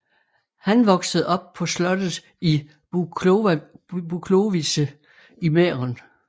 Han voksede op på slottet i Buchlovice i Mæhren